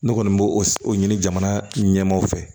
Ne kɔni bo o ɲini jamana ɲɛmaaw fɛ